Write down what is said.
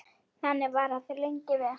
Þannig var það lengi vel.